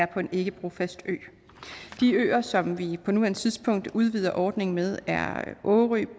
på en ikke brofast ø de øer som vi på nuværende tidspunkt udvider ordningen med er årø